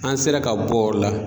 An sera ka bɔ yɔrɔ la